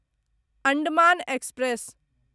Andaman express